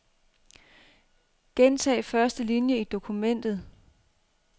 Gentag første linie i dokumentet.